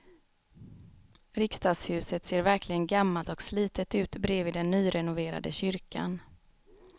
Riksdagshuset ser verkligen gammalt och slitet ut bredvid den nyrenoverade kyrkan.